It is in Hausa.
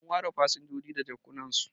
an ware fasinjoji da jakjunansu